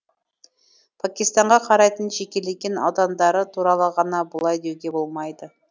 пакистанға қарайтын жекелеген аудандары туралы ғана бұлай деуге болмайды